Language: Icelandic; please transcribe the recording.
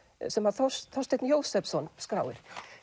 sem Þorsteinn Þorsteinn Jósepsson skráir